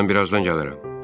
Mən birazdan gələrəm.